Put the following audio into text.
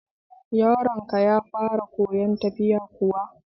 Yaron ka ya fara koyan tafiya kuwa?